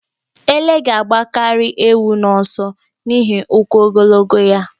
Ele ga-agbakarị ewu n'ọsọ n'ihi ụkwụ ogologo ya.